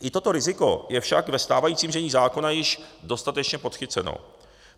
I toto riziko je však ve stávajícím znění zákona již dostatečně podchyceno.